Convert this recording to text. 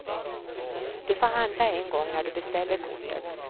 Du får handla en gång när du beställer kortet.